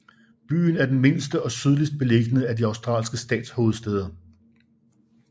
Byen er den mindste og sydligst beliggende af de australske statshovedstæder